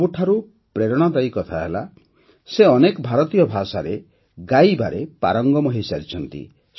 ସବୁଠାରୁ ପ୍ରେରଣାଦାୟୀ କଥା ହେଲା ଯେ ସେ ଅନେକ ଭାରତୀୟ ଭାଷାରେ ଗାଇବାରେ ପାରଙ୍ଗମ ହୋଇସାରିଛନ୍ତି